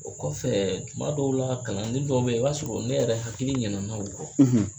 O kɔfɛ tuma dɔw la kalanden dɔw bɛ ye o b'a sɔrɔ ne yɛrɛ hakili ɲina na o kɔ.